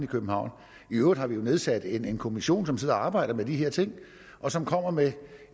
københavn i øvrigt har vi jo nedsat en kommission som sidder og arbejder med de her ting og som kommer med